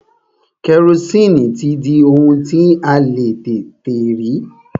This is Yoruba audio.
Kẹrosini ti di ohun tí a le tètè rí.